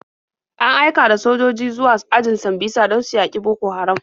An aika da sojoji zuwa ajin Sambisa don su yaƙi Boko Haram.